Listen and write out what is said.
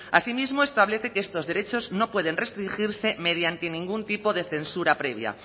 así mismo establece que estos derechos no pueden restringirse mediante ningún tipo de censura previa